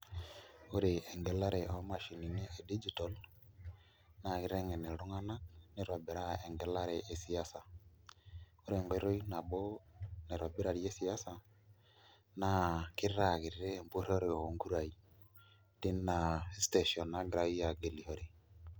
Ore engelare omashinini e digital nakitengen ltunganak nitobiraa engilare esiasa ,ore enkai toki nabo naitobirarie siasa na kitaa kiti empuroro onkurainagira tina station agilishore.